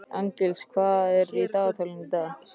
Arngils, hvað er á dagatalinu í dag?